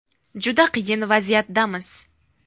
Juda qiyin vaziyatdamiz.